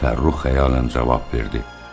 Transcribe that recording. Fəxrrux həyanlı cavab verdi.